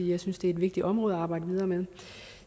jeg synes det er et vigtigt område at arbejde videre med